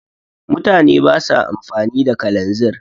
mutane ba sa amfani da kalanzir